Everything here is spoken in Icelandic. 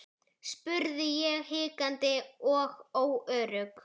spurði ég hikandi og óörugg.